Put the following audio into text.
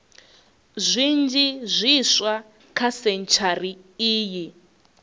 zwinzhi zwiswa kha sentshari iyi